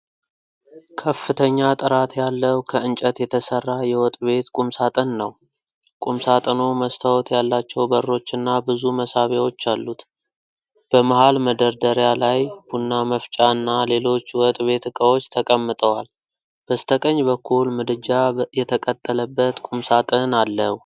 ከፍተኛ ጥራት ያለው ከእንጨት የተሰራ የወጥ ቤት ቁምሳጥን ነው። ቁምሳጥኑ መስታወት ያላቸው በሮች እና ብዙ መሳቢያዎች አሉት። በመሃል መደርደሪያ ላይ ቡና መፍጫ እና ሌሎች የወጥ ቤት እቃዎች ተቀምጠዋል። በስተቀኝ በኩል ምድጃ የተቀጠለበት ቁምሳጥን አለው።